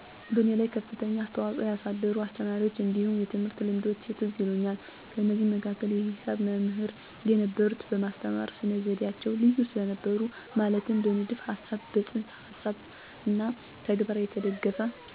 በእኔ ላይ ከፍተኛ አስተዋፅኦ ያሳደሩ አስተማሪዎች እንዲሁም የትምህርት ልምዶች ትዝ ይሉኛል። ከነዚህም መካከል የሂሳብ መምሕር የነበሩት በማስተማር ስነ-ዘዴዓቸው ልዩ ስለነበሩ ማለትም በንድፈ ሀሳብ፣ በፅንሰ ሀሳብና በተግባር የተደገፈ፤ ሀሳብን ከተግባር ጋር አቀናጅቶ፣ አስማምቶ እና አዋሕዶ በቀላል አገላለጽ በማቅረብ የተካኑ ስለነበሩ በእኔ ላይ የሂሳብ ትምህርት ከፋተኛ ፋላጎት እንዲሮረኝ አስተዋጽኦ አሳድረዋል፤ በዚህም ምክንያት በሒሳብ ትምህርት የተለየ ግንዛቤ፣ የላቀ ውጤት እንዳስመዘገብ አስችሎኛል ለምሳሌ የአስራ ሁለተኛ መልቀቂያ ፈተና ከትምህርት ቤታችን ከፋተኛ ውጤት ማስመዝገብ ስለቻልኩ የማይረሳና ልዩ ያደርገዋል።